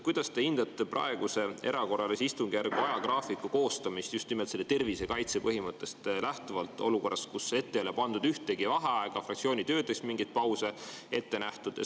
Kuidas te hindate praeguse erakorralise istungjärgu ajagraafiku koostamist just nimelt tervisekaitse põhimõttest lähtuvalt, olukorras, kus ette ei ole pandud ühtegi vaheaega ja fraktsioonitöödeks mingeid pause ei ole ette nähtud?